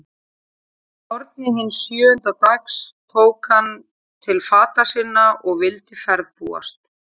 Að morgni hins sjöunda dags tók hann til fata sinna og vildi ferðbúast.